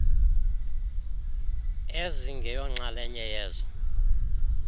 ezingeyo nxalenye yezo